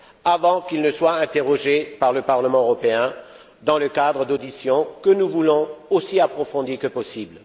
avant qu'ils ne soient interrogés par le Parlement européen, dans le cadre d'auditions que nous voulons aussi approfondies que possible.